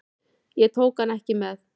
Ég tók hann ekki með.